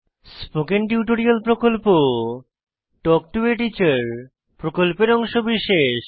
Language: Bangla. স্পোকেন টিউটোরিয়াল প্রকল্প তাল্ক টো a টিচার প্রকল্পের অংশবিশেষ